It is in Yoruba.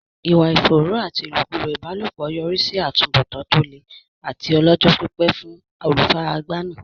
Ìwà ìfòòró àti ìlòkulò ìbálòpọ̀ yọrí sí àtúbọ̀tán tó le àti ọlọ́jọ́-pípẹ́ fún olùfaragbá náà.